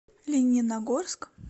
лениногорск